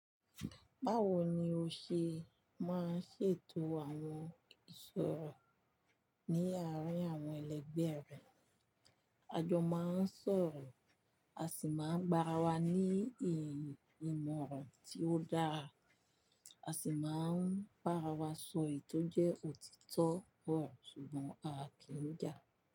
Báwo ni o ṣe máa ń ṣètò àwọn ìṣòro ní àárín àwọn ẹlẹgbẹ́ rẹ? A jọ máa ń sọ̀rọ̀, a sì máa ń gbàrà wá ní ìmọ̀ràn tí ó dára, a sì máa ń bàrà wá sọ èyi tò jẹ́ òtítọ́ ọ̀ro, ṣùgbọ́n a kì í jà.